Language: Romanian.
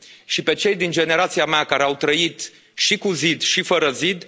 Și pe cei din generația mea care au trăit și cu zid și fără zid.